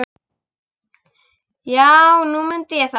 Já, nú mundi ég það.